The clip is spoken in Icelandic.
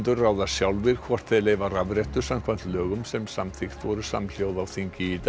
ráða sjálfir hvort þeir leyfa rafrettur samkvæmt lögum sem samþykkt voru samhljóða á þingi í dag